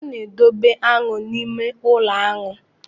A na-edobe aṅụ n'ụlọ aṅụ.